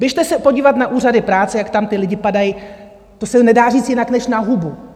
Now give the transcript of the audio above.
Běžte se podívat na úřady práce, jak tam ti lidé padají - to se nedá říct jinak než na hubu.